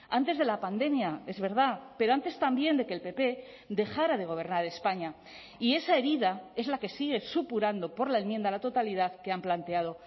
antes de la pandemia es verdad pero antes también de que el pp dejara de gobernar españa y esa herida es la que sigue supurando por la enmienda a la totalidad que han planteado